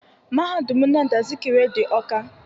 Mahadum Nnamdi Azikiwe dị Ọka.